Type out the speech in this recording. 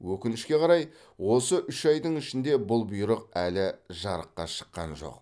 өкінішке қарай осы үш айдың ішінде бұл бұйрық әлі жарыққа шыққан жоқ